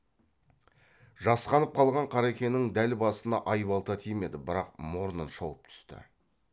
жасқанып қалған қарекенің дәл басына айбалта тимеді бірақ мұрнын шауып түсті